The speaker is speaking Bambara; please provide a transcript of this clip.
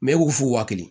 Mɛ e k'u fu wa kelen